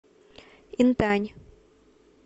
интань